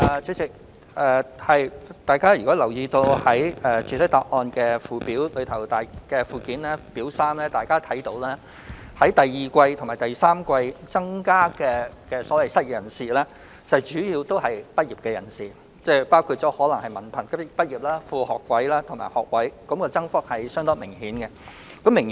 主席，大家可從主體答覆附件的表三看到，本年第二季及第三季新增的失業人士，主要是本屆畢業生，包括文憑、副學位和學位畢業生，增幅相當明顯。